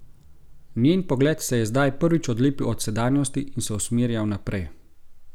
Njen pogled se je zdaj prvič odlepil od sedanjosti in se usmerjal naprej.